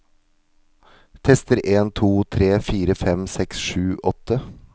Tester en to tre fire fem seks sju åtte